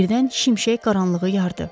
Birdən şimşək qaranlığı yardı.